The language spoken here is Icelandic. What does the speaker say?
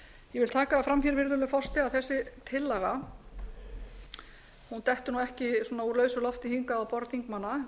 vil taka það fram hér virðulegur forseti að þessi tillaga dettur nú ekki svona úr lausu lofti hingað á borð þingmanna